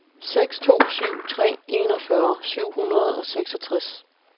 seks to syv tre enogfyrre syv hundrede og seksogtres